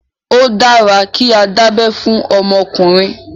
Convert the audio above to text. Ó dára kí á dá abé fún ọmọkùnrin.